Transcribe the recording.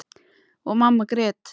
Og mamma grét.